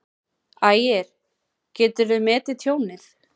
Ægir: Geturðu metið tjónið?